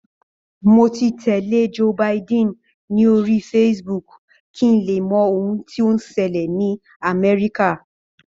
Mo ti tẹ̀lé Joe Biden ní orí Facebook kí n lè mọ ohun tí ó ń ṣẹlẹ̀ ni Amerika